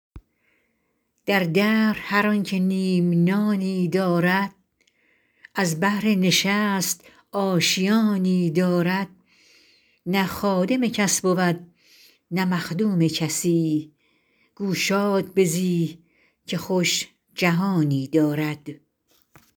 در دهر هر آن که نیم نانی دارد از بهر نشست آشیانی دارد نه خادم کس بود نه مخدوم کسی گو شاد بزی که خوش جهانی دارد